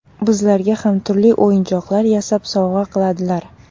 Bizlarga ham turli o‘yinchoqlar yasab, sovg‘a qiladilar.